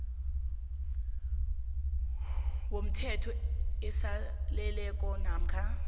womthelo aseleleko namkha